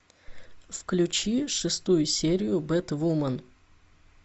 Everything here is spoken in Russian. включи шестую серию бэтвумен